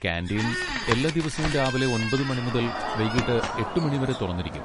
Canteen എല്ലാ ദിവസവും രാവിലെ ഒൻപത് മണി മുതൽ വൈകീട്ട് എട്ട് മണി വരെ തുറന്നിരിക്കും.